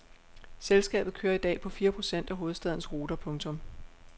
Selskabet kører i dag på fire procent af hovedstadens ruter. punktum